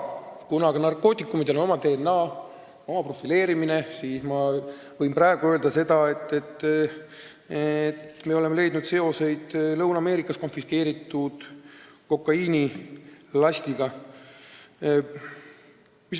Kuna aga narkootikumidel on oma DNA, neid profileeritakse, siis ma võin öelda, et me oleme leidnud seoseid Lõuna-Ameerikas konfiskeeritud kokaiinilastiga.